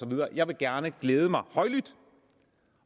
videre jeg vil gerne glæde mig højlydt